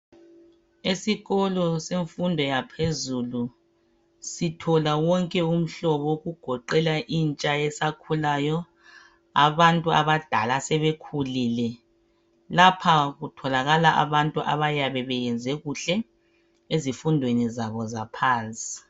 Isikolo semfundo yaphezulu sithola wonke umhlobo okugoqela intsha esakhulayo abantu abadala asebekhulile Lapha kutholakala abantu abayabe beyenze kuhle ezifundweni zabo zaphansi